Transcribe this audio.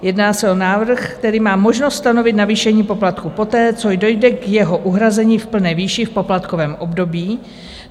Jedná se o návrh, který má možnost stanovit navýšení poplatků poté, co dojde k jeho uhrazení v plné výši v poplatkovém období.